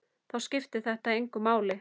Þá skiptir þetta engu máli.